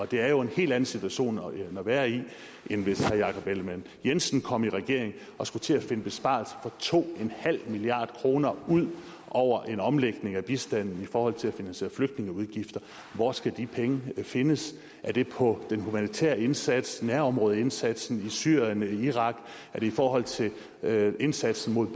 det er jo en helt anden situation at være i end hvis herre jakob ellemann jensen kom i regering og skulle til at finde besparelser for to milliard kroner ud over en omlægning af bistanden i forhold til at finansiere flygtningeudgifter hvor skal de penge findes er det på den humanitære indsats nærområdeindsatsen i syrien i irak er det i forhold til indsatsen mod